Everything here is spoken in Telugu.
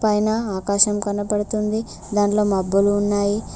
పైన ఆకాశం కనబడుతుంది దాంట్లో మబ్బులు ఉన్నాయి.